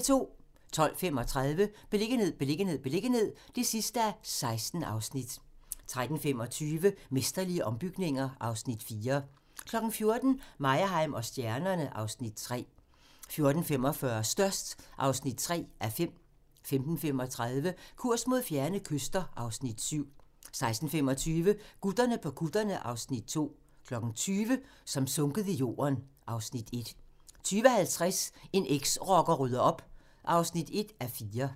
12:35: Beliggenhed, beliggenhed, beliggenhed (16:16) 13:25: Mesterlige ombygninger (Afs. 4) 14:00: Meyerheim & stjernerne (Afs. 3) 14:45: Størst (3:5) 15:35: Kurs mod fjerne kyster (Afs. 7) 16:25: Gutterne på kutterne (Afs. 2) 20:00: Som sunket i jorden (Afs. 1) 20:50: En eksrocker rydder op (1:4)